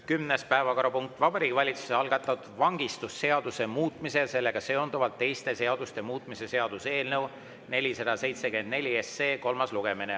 Kümnes päevakorrapunkt on Vabariigi Valitsuse algatatud vangistusseaduse muutmise ja sellega seonduvalt teiste seaduste muutmise seaduse eelnõu 474 kolmas lugemine.